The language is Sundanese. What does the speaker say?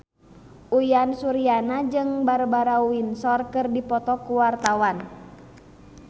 Uyan Suryana jeung Barbara Windsor keur dipoto ku wartawan